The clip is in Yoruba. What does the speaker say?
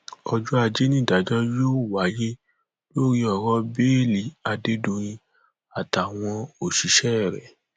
ọjọ ajé nídàájọ yóò wáyé lórí ọrọ bẹẹlí adédọyìn àtàwọn òṣìṣẹ rẹ